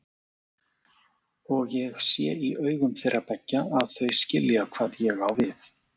Og ég sé í augum þeirra beggja að þau skilja hvað ég á við.